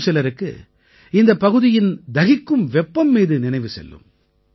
இன்னும் சிலருக்கு இந்தப் பகுதியின் தகிக்கும் வெப்பம் மீது நினைவு செல்லும்